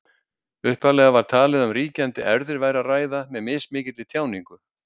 Upphaflega var talið að um ríkjandi erfðir væri að ræða með mismikilli tjáningu.